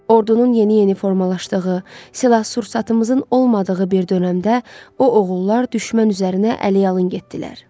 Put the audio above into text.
Ordunun yeni-yeni formalaşdığı, silah-sursatımızın olmadığı bir dönəmdə o oğullar düşmən üzərinə əliyalın getdilər.